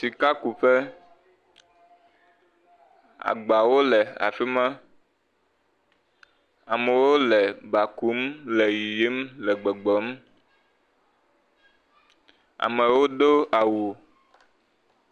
Sikakuƒe, agbawo afi ma, amewo le ba kum le yiyim le gbɔgbɔm, amewo do awu.